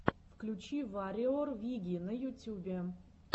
включи варриор виги на ютюбе